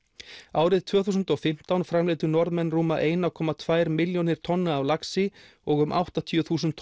árið tvö þúsund og fimmtán framleiddu Norðmenn rúma eina komma tvær milljónir tonna af laxi og um áttatíu þúsund